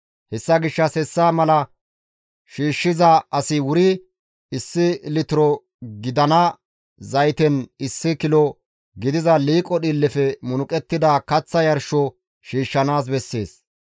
Hessa gishshas hessa mala shiishshiza asi wuri issi litiro gidana zayten issi kilo gidiza liiqo dhiillefe munuqettida kaththa yarsho shiishshanaas bessees.